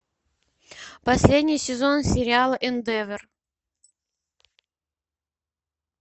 последний сезон сериала индевор